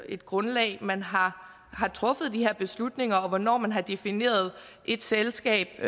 et grundlag man har truffet de her beslutninger på og hvornår man har defineret et selskab